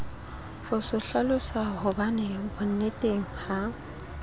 ho se hlalosahobane bonneteng ha